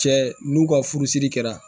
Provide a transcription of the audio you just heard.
Cɛ n'u ka furusiri kɛra